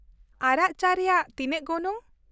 ᱟᱨᱟᱜ ᱪᱟ ᱨᱮᱭᱟᱜ ᱛᱤᱱᱟᱹᱜ ᱜᱚᱱᱚᱝ ?